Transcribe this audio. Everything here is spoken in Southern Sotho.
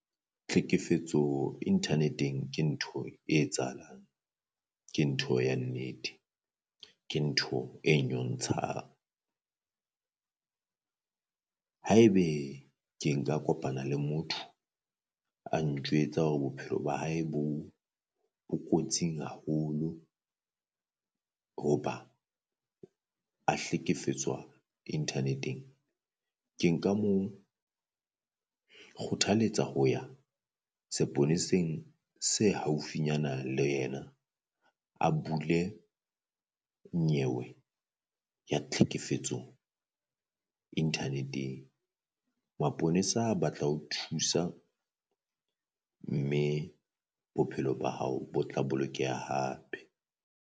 Tlhekefetso internet-ng ke ntho e etsahalang ke ntho ya nnete, ke ntho e nyontshang. Haebe ke nka kopana le motho a ntjwetsa hore bophelo ba hae bo kotsi haholo hoba a hlekefetswa internet-eng, ke nka mo kgothaletsa ho ya seponeseng se haufinyana le yena, a bule nyewe ya tlhekefetso internet-eng. Maponesa ba tla ho thusa mme bophelo ba hao bo tla bolokeha hape.